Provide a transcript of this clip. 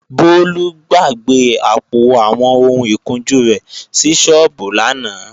Bólú gbàgbé àpò àwọn ohun ìkunjú rẹ̀ sí sọ́ọ́bù lánàá